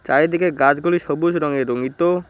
চারিদিকে গাছগুলি সবুজ রঙে রঙ্গিত।